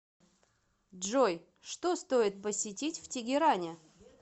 джой что стоит посетить в тегеране